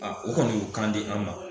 A o kɔni y'u kan di an ma